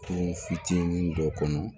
Turu fitinin dɔ kɔnɔ